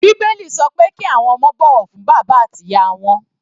Bíbélì sọ pé kí àwọn ọmọ ó bọ̀wọ̀ fún bàbá àti ìyá wọn.